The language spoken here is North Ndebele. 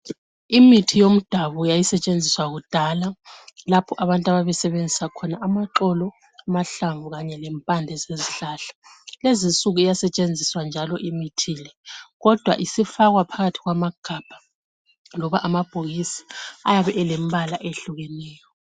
Imithi yomdabu yayisetshenziswa kudala lapho abantu ababesebenzisa khona amaxolo , amahlamvu kanye lempande zezihlahla. Lezinsuku iyasetshenziswa njalo imithi le kodwa isifakwa phakathi kwamagabha loba amabhokisi ayabe elembala ehlukeneyo.